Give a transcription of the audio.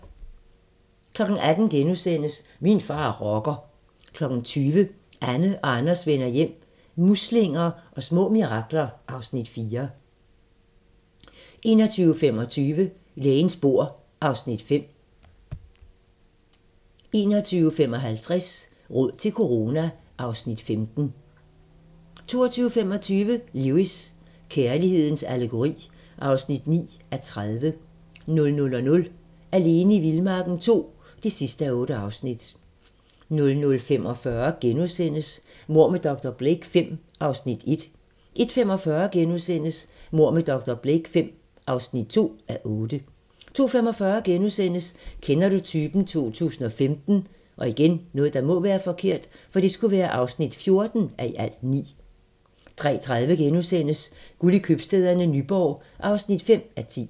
18:00: Min far er rocker * 20:00: Anne og Anders vender hjem - muslinger og små mirakler (Afs. 4) 21:25: Lægens bord (Afs. 5) 21:55: Råd til corona (Afs. 15) 22:25: Lewis: Kærlighedens allegori (9:30) 00:00: Alene i vildmarken II (8:8) 00:45: Mord med dr. Blake V (1:8)* 01:45: Mord med dr. Blake V (2:8)* 02:45: Kender du typen? 2015 (14:9)* 03:30: Guld i købstæderne - Nyborg (5:10)*